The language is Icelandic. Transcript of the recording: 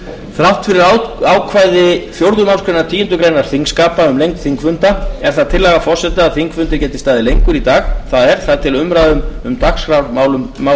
þrátt fyrir ákvæði fjórðu málsgreinar tíundu greinar þingskapa um lengd þingfunda er það tillaga forseta að þingfundir geti staðið lengur í dag það er þar til umræðu um dagskrármálin